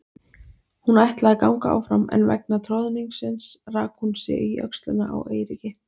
Hún ætlaði að ganga áfram en vegna troðningsins rak hún sig í öxlina á Eiríki.